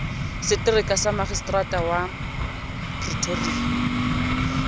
setereka sa maseterata wa pretoria